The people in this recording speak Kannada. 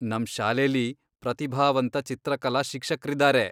ನಮ್ ಶಾಲೆಲಿ ಪ್ರತಿಭಾವಂತ ಚಿತ್ರಕಲಾ ಶಿಕ್ಷಕ್ರಿದಾರೆ.